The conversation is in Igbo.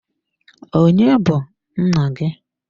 Onye bu nna gị?